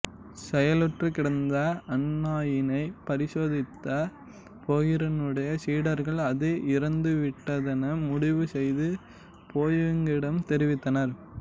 செயலற்று கிடந்த அந்நாயினை பரிசோதித்த போகரினுடைய சீடர்கள் அது இறந்துவிட்டதென முடிவுசெய்து போயாங்கிடம் தெரிவித்தனர்